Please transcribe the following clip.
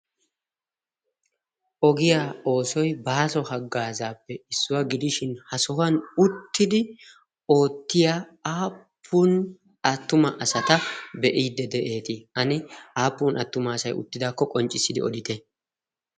Ogiyaa oosoy baaso haggaazaappe issuwaa gidishin ha sohuwan uttidi oottiya aappun attuma asata be'iideti? Ani aappun attuma asay uttidaakko qonccissidi odite?